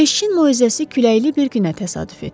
Keşişin moizəsi küləkli bir günə təsadüf etdi.